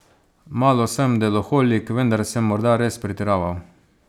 Malo sem deloholik, vendar sem morda res pretiraval.